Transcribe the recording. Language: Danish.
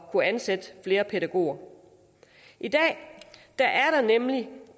kunne ansætte flere pædagoger i dag er der nemlig